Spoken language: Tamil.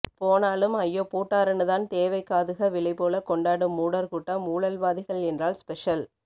போனாலும் ஐயோ பூட்டாருன்னுதான் தேவைக்காதுக விலைபோல கொண்டாடும் மூடர்கூட்டம் ஊழல்வாதிகள் என்றால் ஸ்பெஷல்